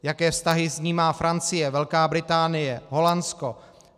Jaké vztahy s ní má Francie, Velká Británie, Holandsko.